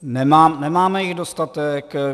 Nemáme jich dostatek.